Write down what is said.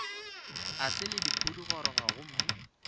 e sa le pudigoroga gomme